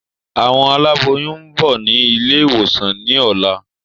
Àwọn aláboyún ń bọ̀ ni ilé ìwòsàn yìí ni ọ̀la.